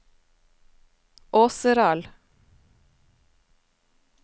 Åseral